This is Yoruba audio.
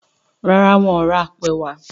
ràrá wón rà apo ẹwà.